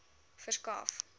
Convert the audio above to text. verskaf